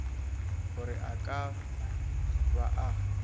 gore a ka ba a